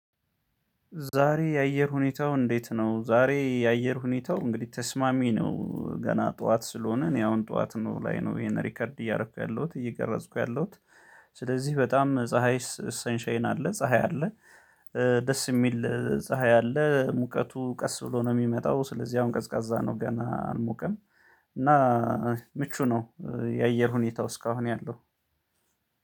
ዛሬ የአየር ሁኔታው እንዴት ነው? ዛሬ የአየር ሁኔታው እንግዲህ ተስማሚ ነው ገና ጠዋት ስለሆነ እኔ አሁን ጠዋት ነው ላይ ነው ይሄን ሪከርድ እያደረኩ ያለሁት እየቀረጽኩ ያለሁት። ስለዚህ በጣም ፀሀይ ሰንሻይን አለ ፀሀይ አለ። ደስ የሚል ፀሀይ አለ ሙቀቱ ቀስ ብሎ ነው የሚመጣው። ስለዚህ አሁን ቀዝቃዛ ነው ገና አልሞቀም። እና ምቹ ነው የአየር ሁኔታው እስካሁን ያለው።